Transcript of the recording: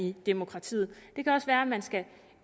i demokratiet det kan også være at man skal